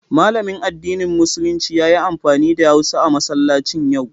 Malamin addinin Musulunci ya yi amfani da hausa a masallacin yau.